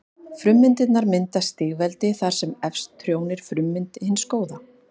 Frummyndirnar mynda stigveldi þar sem efst trónir frummynd hins góða.